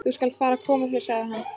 Þú skalt fara að koma þér, sagði hann.